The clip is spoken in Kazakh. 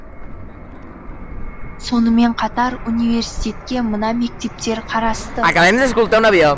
сонымен қатар университетке мына мектептер қарасты